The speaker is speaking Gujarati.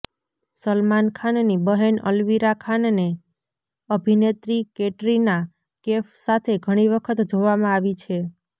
સલમાન ખાનની બહેન અલવીરા ખાનને અભિનેત્રી કેટરીના કેફ સાથે ઘણી વખત જોવામાં આવી છે